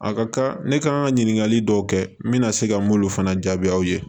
A ka kan ne ka kan ka ɲininkali dɔw kɛ n bɛna se ka n m'olu fana jaabi aw ye